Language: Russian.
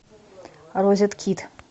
розет кит